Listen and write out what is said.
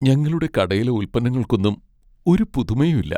ഞങ്ങളുടെ കടയിലെ ഉല്പന്നങ്ങൾക്കൊന്നും ഒരു പുതുമയും ഇല്ല.